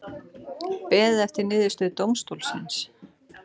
Beðið eftir niðurstöðu dómstólsins